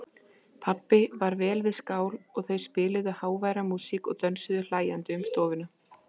Pabbi var vel við skál og þau spiluðu háværa músík og dönsuðu hlæjandi um stofuna.